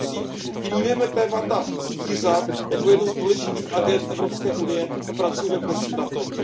Tedy prosím vnímejme témata zvířat jako jednu z důležitých agend Evropské unie a pracujme prosím na tom.